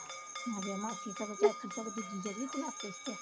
ਮਾਸੀ ਸਗੋਂ ਦੂਜੀ ਜਿਹੜੀ ਉਹ ਚਲਾਕ ਚੁਸਤ ਆ